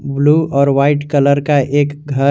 Blue और white colour का एक घर है।